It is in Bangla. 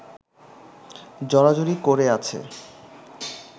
জড়াজড়ি করে আছে